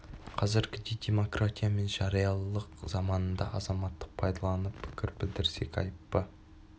қазіргідей демократия мен жариялылық заманында азаматтық пайдаланып пікір білдірсек айып па